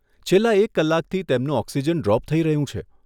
છેલ્લા એક કલાકથી તેમનું ઓક્સિજન ડ્રોપ થઈ રહ્યું છે.